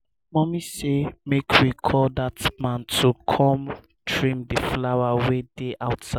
mama say make we call dat man to come trim the flowers wey dey outside